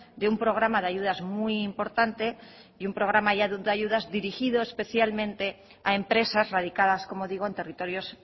de un programa de ayudas muy importante y un programa ya de ayudas dirigido especialmente a empresas radicadas como digo en territorios